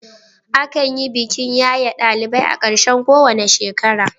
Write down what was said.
Akan yi bikin yaye ɗalibai a ƙarshen kowane shekara.